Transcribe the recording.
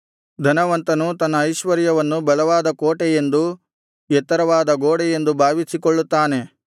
ಧನವಂತನು ತನ್ನ ಐಶ್ವರ್ಯವನ್ನು ಬಲವಾದ ಕೋಟೆಯೆಂದು ಎತ್ತರವಾದ ಗೋಡೆಯೆಂದು ಭಾವಿಸಿಕೊಳ್ಳುತ್ತಾನೆ